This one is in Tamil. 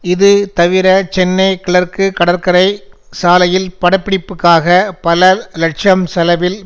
இது தவிர சென்னை கிழக்கு கடற்கரை சாலையில் படப்பிடிப்புக்காக பல லட்சம் செலவில்